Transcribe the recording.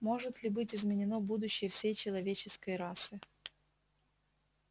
может ли быть изменено будущее всей человеческой расы